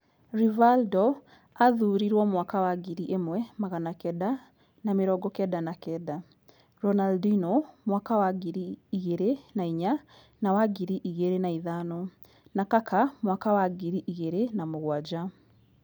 Rivaldo aathuurirwo mwaka wa ngiri ĩmwe magana kenda na mĩrongo kenda na kenda, Ronaldinho mwaka wa ngiri igĩrĩ na inya na wa ngiri igĩrĩ na ithano na Kaka mwaka wa ngiri igĩrĩ na mũgwanja.